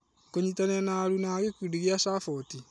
Kũnyitanĩra na aruna a gĩkundi kĩa Saboti.